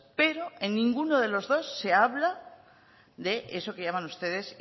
pero en ninguno de los dos se habla de eso que llaman ustedes